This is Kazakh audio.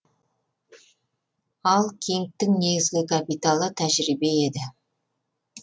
ал кингтің негізгі капиталы тәжірибе еді